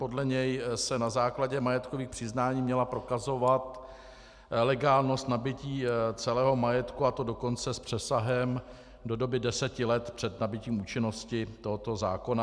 Podle něj se na základě majetkových přiznání měla prokazovat legálnost nabytí celého majetku, a to dokonce s přesahem do doby deseti let před nabytím účinnosti tohoto zákona.